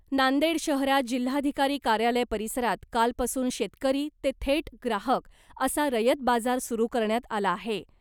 नांदेड शहरात जिल्हाधिकारी कार्यालय परिसरात कालपासून शेतकरी ते थेट ग्राहक , असा रयत बाजार सुरू करण्यात आला आहे .